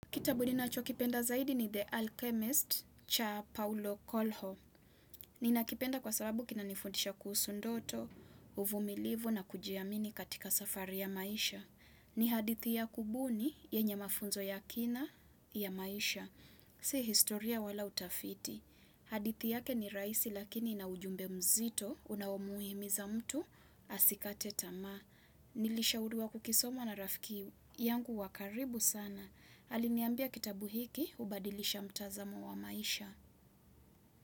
Kitabu ni nacho kipenda zaidi ni The Alchemist cha Paulo Kolho. Ninakipenda kwa sababu kinanifundisha kuhusu ndoto, uvumilivu na kujiamini katika safari ya maisha. Ni hadithi ya kubuni yenye mafunzo ya kina ya maisha. Si historia wala utafiti. Hadithi yake ni rahisi lakini ina ujumbe mzito unaomhimiza mtu asikate tamaa. Nilishauriwa kukisoma na rafiki yangu wa karibu sana. Aliniambia kitabu hiki, hubadilisha mtazamo wa maisha.